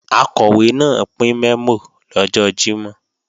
Akọ̀wé náà pín mẹ́mò lọ́jọ́ Jímọ̀